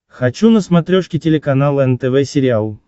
хочу на смотрешке телеканал нтв сериал